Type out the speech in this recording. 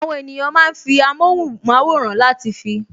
Àwọn ènìyàn máa ń fi amóhùnmáwòrán láti fi